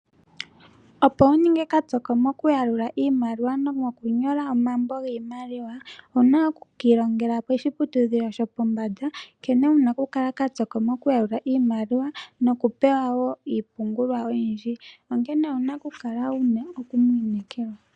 Opo wu ninge kapyoko mokuyalula iimaliwa nomokunyola omambo giimaliwa owu na oku ka ilongela koshiputudhilo shopombanda nkene wu na okukala kapyoko mokuyalula iimaliwa nokupewa wo iipungulwa oyindji, onkene owu na okukala wu na omuntu omwiinekelwa.